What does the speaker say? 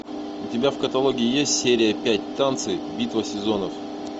у тебя в каталоге есть серия пять танцы битва сезонов